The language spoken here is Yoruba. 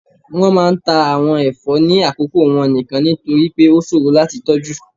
wọn máà ń ta awon ẹfọ ni akoko wọn nikan, nitori pe o ṣoro lati tọju.